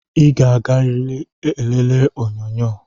I ga-aga eleriri onyonyo!